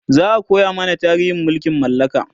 za'a koya mana tarihin mulkin mallaka